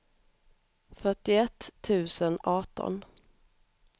fyrtioett tusen arton